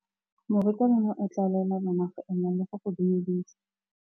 Morutabana o tla laela bana go ema le go go dumedisa.